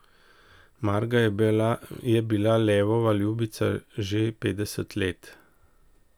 Marga je bila Levova ljubica že petdeset let.